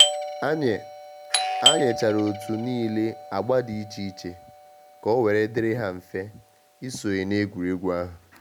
A nye A nye chara otu niile agba dị iche iche ka owere diri ha mfe isonye na egwuregwu ahụ.